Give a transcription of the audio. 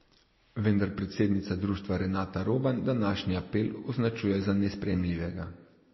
Vendar predsednica društva Renata Roban današnji apel označuje za nesprejemljivega.